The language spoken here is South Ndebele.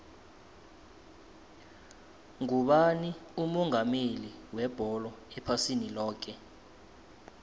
ngubani umongameli webholo ephasini loke